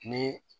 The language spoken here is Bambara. Ni